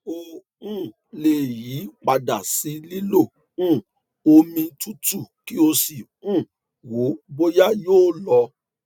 o um lè yí padà sí lílo um omi tútù kí o sì um wo bóyá yóò lọ